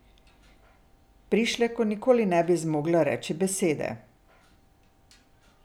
Prišleku nikoli ne bi zmogla reči besede.